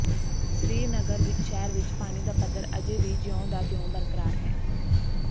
ਸ੍ਰੀਨਗਰ ਸ਼ਹਿਰ ਵਿੱਚ ਪਾਣੀ ਦਾ ਪੱਧਰ ਅਜੇ ਵੀ ਜਿਉਂ ਦਾ ਤਿਉਂ ਬਰਕਰਾਰ ਹੈ